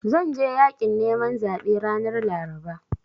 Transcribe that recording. Zan je yaƙin neman zaɓe ranar Laraba.